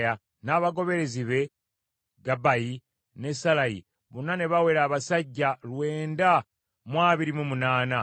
n’abagoberezi be Gabbayi ne Sallayi, bonna ne bawera abasajja lwenda mu abiri mu munaana (928).